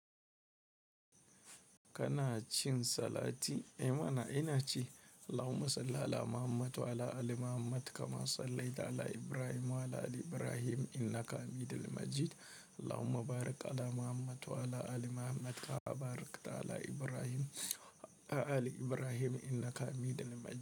Kana cin salati? I mana, ina ce. Allahumma salli ala Muhammad wa ala ali Muhammad kama sallaita ala Ibrahim wa ala ali Ibrahim innaka hamidun majid. Allahumma barik ala Muhammad wa ala ali Muhammad kama barakta ala Ibrahim wa ala ali Ibrahim innaka hamidun majid.